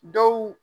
Dɔw